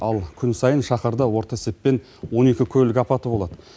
ал күн сайын шаһарда орта есеппен он екі көлік апаты болады